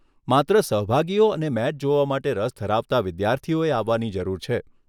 માત્ર સહભાગીઓ અને મેચ જોવા માટે રસ ધરાવતા વિદ્યાર્થીઓએ આવવાની જરૂર છે.